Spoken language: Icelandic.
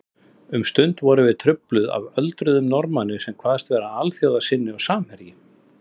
Um stund vorum við trufluð af öldruðum Norðmanni sem kvaðst vera alþjóðasinni og samherji